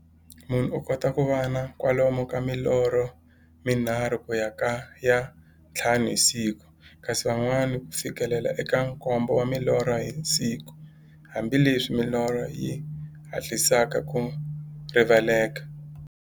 Munhu u kota ku va na kwalomu ka milorho mi nharhu ku ya ka ya nthlanu hi siku, kasi van'wana ku fikela eka nkombo wa milorho hi siku, hambileswi milorho yi hatlisaka ku rivaleka.